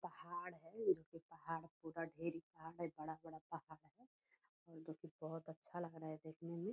पहाड़ है ए पहाड़ पूरा ढेरी पहाड़ है बड़ा-बड़ा पहाड़ है बुहत अच्छा लग रहा है देखने मे |